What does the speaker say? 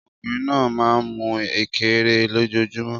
Ọkùnrin náà máa ń mú Ekere lójoojúmọ́